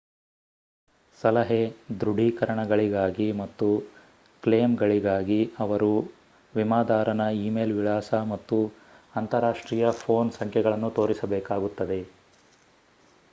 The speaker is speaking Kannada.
ಸಲಹೆ/ದೃಢೀಕರಣಗಳಿಗಾಗಿ ಮತ್ತು ಕ್ಲೇಮ್‌ಗಳಿಗಾಗಿ ಅವರು ವಿಮಾದಾರನ ಈಮೇಲ್ ವಿಳಾಸ ಮತ್ತು ಅಂತರಾಷ್ಟ್ರೀಯ ಪೋನ್ ಸಂಖ್ಯೆಗಳನ್ನು ತೋರಿಸಬೇಕಾಗುತ್ತದೆ